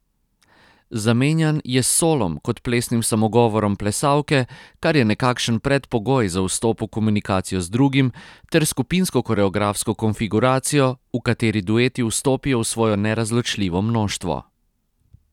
Zamenjan je s solom kot plesnim samogovorom plesalke, kar je nekakšen predpogoj za vstop v komunikacijo z drugim, ter skupinsko koreografsko konfiguracijo, v kateri dueti vstopijo v svojo nerazločljivo mnoštvo.